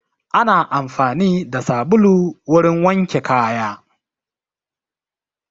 Ana amfani da sabulu wurin wanke kaya